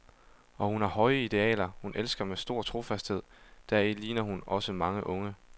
Og hun har høje idealer, hun elsker med stor trofasthed, deri ligner hun også mange unge.